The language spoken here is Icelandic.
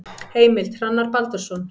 Heimild: Hrannar Baldursson.